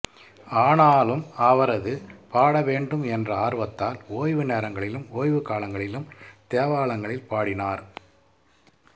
ஆனாலும் அவரது பாடவேண்டும் என்ற ஆர்வத்தால் ஒய்வு நேரங்களிலும் ஓய்வுக் காலங்களிலும் தேவாலயங்களில் பாடினார்